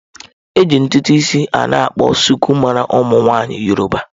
Eji ntutu isi a na akpọ suku mara ụmụ nwaanyị yọrọba.